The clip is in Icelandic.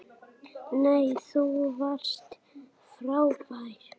Nei, þú varst frábær!